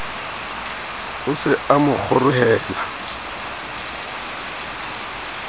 o se a mo kgorohela